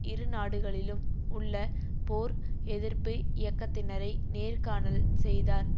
இருநாடுகளிலும் உள்ள போர் எதிர்ப்பு இயக்கத்தினரை நேர்காணல் செய்தார்